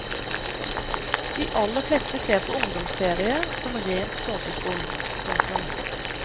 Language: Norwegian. De aller fleste ser på ungdomsserier som rent såpeskum. punktum